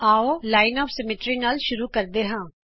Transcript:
ਆਉ ਸਮਮਿਤੀ ਦੀ ਰੇਖਾ ਨਾਲ ਸ਼ੁਰੂਆਤ ਕਰਦੇ ਹਾਂ